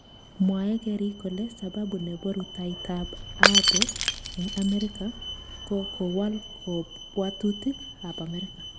Mwae keriik kole sababu nebo rutoitab Abe eng Amerika ko kowal kabwotutik ab amerika